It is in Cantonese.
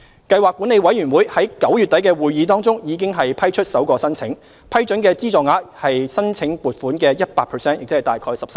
計劃管理委員會在9月底的會議中，已批出首個申請，批准的資助額為申請款額的 100%。